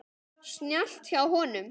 Snjallt hjá honum.